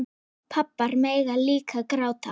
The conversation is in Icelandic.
Pabbar mega líka gráta.